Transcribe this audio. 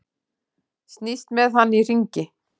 Snýst með hann í hringi.